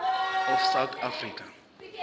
of south africa